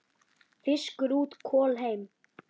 Fiskur út, kol heim.